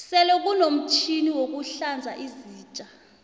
sele kunomtjhini wokuhlanza izitja